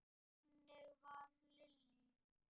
Þannig var Lillý.